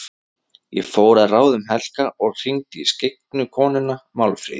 Ég fór að ráðum Helga og hringdi í skyggnu konuna, Málfríði.